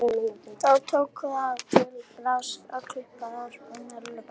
Þá tók mamma það til bragðs að klippa bara af mér lubbann.